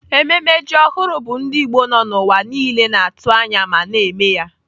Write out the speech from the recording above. Ememme ji ọhụrụ bụ ndị Igbo nọ n'ụwa niile na-atụ anya ma na-eme ya.